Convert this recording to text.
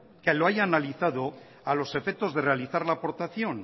que lo haya analizado a los efectos de realizar la aportación